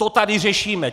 To tady řešíme!